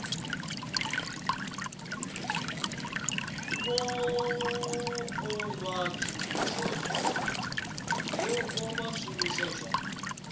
vha o vha zwishumiswa zwa